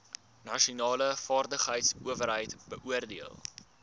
nasionale vaardigheidsowerheid beoordeel